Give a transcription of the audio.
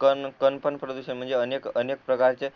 कण कण पण प्रदूषण आहेत म्हणजे अनेक अनेक प्रकारचे